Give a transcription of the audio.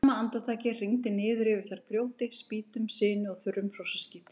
Á sama andartaki rigndi niður yfir þær grjóti, spýtum, sinu og þurrum hrossaskít.